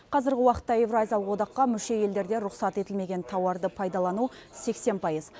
қазіргі уақытта еуразиялық одаққа мүше елдерде рұқсат етілмеген тауарды пайдалану сексен пайыз